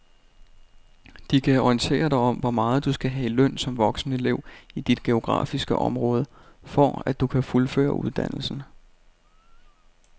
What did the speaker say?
De kan orientere dig om hvor meget du skal have i løn som voksenelev i dit geografiske område, for at du kan fuldføre uddannelsen.